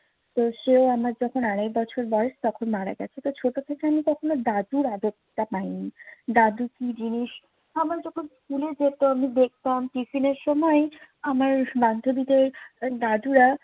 তো সে আমার যখন আড়াই বছর বয়স তখন মারা গেছে। তো ছোট থেকে আমি কখনো দাদুর আদরটা পায়নি। দাদু কি জিনিস আবার যখন স্কুলে যেতাম দেখতাম টিফিনের সময় আমার বান্ধবীদের দাদুরা